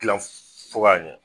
Gilan fo k'a ɲɛ